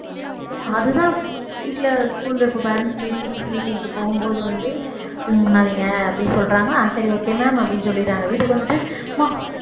அதுதான் வீட்டில school ல இப்ப parents meet teachers' meeting க்கு போகும்போது வந்து பண்ணாதீங்க அப்படின்னு சொல்றாங்க ஆஹ் சரி okay ma'am அப்படின்னு சொல்லிடறாங்க வீட்டுக்கு வந்துட்டு அம்மா